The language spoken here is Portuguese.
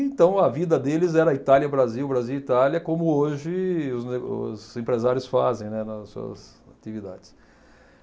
Então a vida deles era Itália-Brasil, Brasil-Itália, como hoje os e os empresários fazem, né, nas suas atividades.